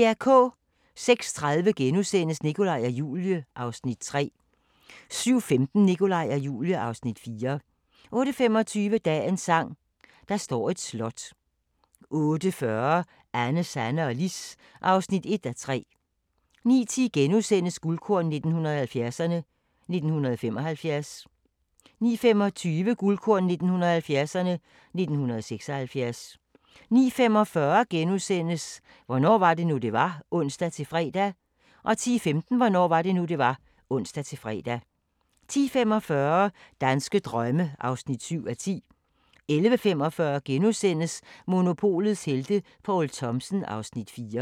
06:30: Nikolaj og Julie (Afs. 3)* 07:15: Nikolaj og Julie (Afs. 4) 08:25: Dagens sang: Der står et slot 08:40: Anne, Sanne og Lis (1:3) 09:10: Guldkorn 1970'erne: 1975 * 09:25: Guldkorn 1970'erne: 1976 09:45: Hvornår var det nu, det var? *(ons-fre) 10:15: Hvornår var det nu, det var? (ons-fre) 10:45: Danske drømme (7:10) 11:45: Monopolets helte - Poul Thomsen (Afs. 4)*